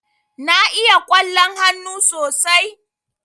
Na iya ƙwallon hannu sosai.